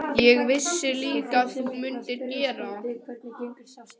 Ég vissi líka að þú mundir gera það.